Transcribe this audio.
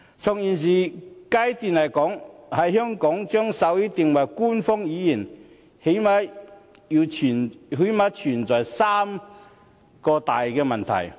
在現階段，在香港將手語定為官方語言，最低限度存在三大問題。